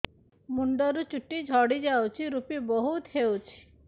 ମୁଣ୍ଡରୁ ଚୁଟି ଝଡି ଯାଉଛି ଋପି ବହୁତ ହେଉଛି